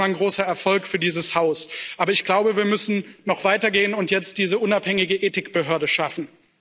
Das ist erstmal ein großer Erfolg für dieses Haus, aber ich glaube, wir müssen noch weitergehen und jetzt diese unabhängige Ethikbehörde schaffen.